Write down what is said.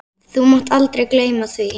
Þú mátt aldrei gleyma því.